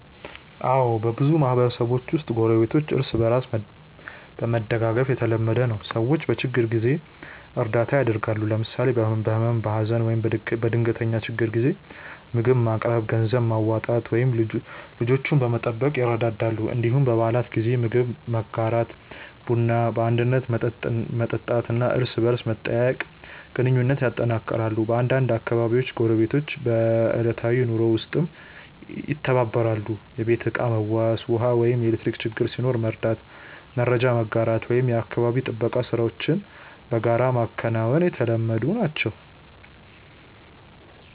አዎ፣ በብዙ ማህበረሰቦች ውስጥ ጎረቤቶች እርስ በእርስ መደጋገፍ የተለመደ ነው። ሰዎች በችግር ጊዜ እርዳታ ያደርጋሉ፣ ለምሳሌ በህመም፣ በሀዘን ወይም በድንገተኛ ችግር ጊዜ ምግብ ማቅረብ፣ ገንዘብ ማዋጣት ወይም ልጆችን መጠበቅ ይረዳዳሉ። እንዲሁም በበዓላት ጊዜ ምግብ መጋራት፣ ቡና በአንድነት መጠጣት እና እርስ በርስ መጠያየቅ ግንኙነቱን ያጠናክራል። በአንዳንድ አካባቢዎች ጎረቤቶች በዕለታዊ ኑሮ ውስጥም ይተባበራሉ፤ የቤት ዕቃ መዋስ፣ ውሃ ወይም ኤሌክትሪክ ችግር ሲኖር መርዳት፣ መረጃ መጋራት ወይም የአካባቢ ጥበቃ ሥራዎችን በጋራ ማከናወን የተለመዱ ናቸው።